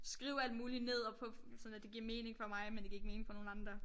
Skrive alt muligt ned og på sådan at det giver mening for mig men det giver ikke mening for nogen andre